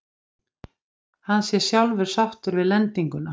Hann sé sjálfur sáttur við lendinguna